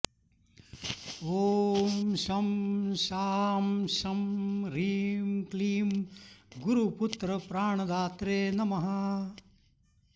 ॐ शं शां षं ह्रीं क्लीं गुरुपुत्रप्राणदात्रे नमः